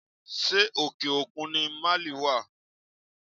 Ṣé òkè òkun ni Máálì wá?